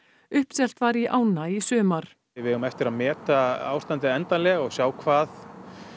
uppselt var í ána í sumar við eigum eftir að meta ástandið endanlega og sjá hvað